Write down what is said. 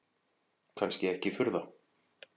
Kannski ekki furða.